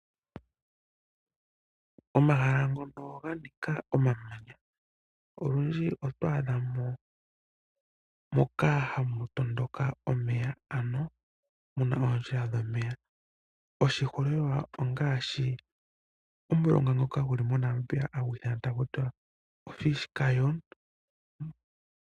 Omahala ngono ganika omamanya , olundji otwaadha mo moka hamu tondoka omeya , ano muna oondjila dhomeya. Oshiholelwa ongaashi omulonga ngoka guli moNamibia hagu ithanwa Fish River Canyon.